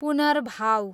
पुनर्भाव